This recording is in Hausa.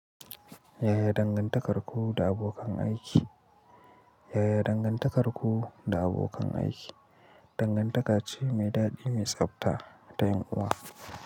Yaya dangantakarku da abokan aiki? Yaya dangantakarku da abokan aiki? Dangantaka ce mai daɗi mai tsabta ta yunwa.